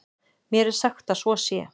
Mér er sagt að svo sé.